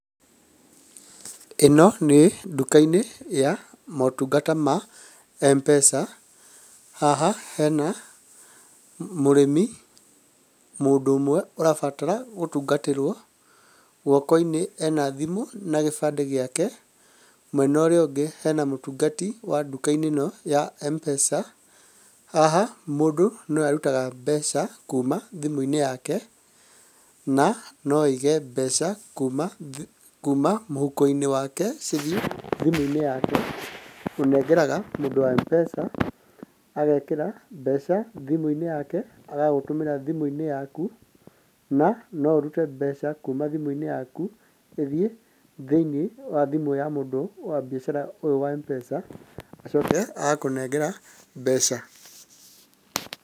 Ĩno nĩ nduka-inĩ ya motungata ma mpesa. Haha hena mũrĩmi, mũndũ ũmwe ũrabatara gũtungatĩrwo. Guoko-inĩ ena thimũ na gĩbandĩ gĩake, mwenorĩũngĩ hena mũtungati wa nduka-inĩ ĩno ya mpesa. Haha mũndũ no arutaga mbeca kuuma thimũ-inĩ yake na no aige mbeca kuuma thi, kuuma mũhuko-inĩ wake cithi thimũ-inĩ yake. Ũnengeraga mũndũ wa mpesa, agekĩra mbeca thimũ-inĩ yake agagũtũmĩra thimũ-inĩ yaku, na no ũrute mbeca kuuma thimũ-inĩ yaku ithi thĩiniĩ wa thimũ ya mũndũ wa biacara ũyũ wa mpesa, acoke agakũnengera mbeca.